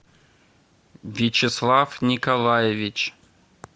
вячеслав николаевич